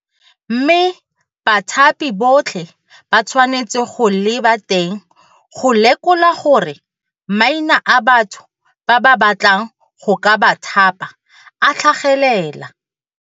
Mme bathapi botlhe ba tshwanetse go leba teng go lekola gore maina a batho ba ba batlang go ka ba thapa a tlhagelela.